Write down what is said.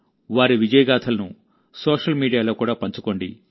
వారి విజయగాథలను సోషల్ మీడియాలో కూడా పంచుకోండి